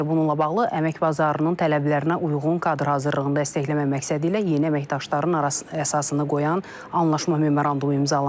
Bununla bağlı əmək bazarının tələblərinə uyğun kadr hazırlığında dəstəkləmə məqsədi ilə yeni əməkdaşların əsasını qoyan anlaşma memorandumu imzalanıb.